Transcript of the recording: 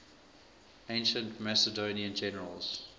ancient macedonian generals